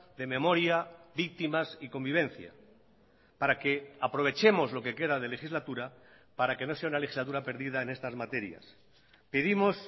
de memoria víctimas y convivencia para que aprovechemos lo que queda de legislatura para que no sea una legislatura perdida en estas materias pedimos